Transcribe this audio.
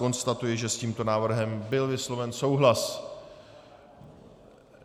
Konstatuji, že s tímto návrhem byl vysloven souhlas.